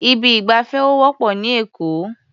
Ibi ìgbafẹ́ ò wọ́pọ̀ ní Èkó.